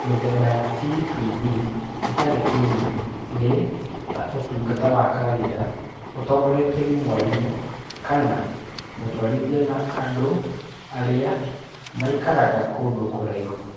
Mĩtheba ya TPD ĩtarĩ kinyi nĩ ta ũtungata wa kawaida ũtongoretio ni mwarimũ kana mũtwarithia na andũ arĩa maikaraga kũndũ kũraihu.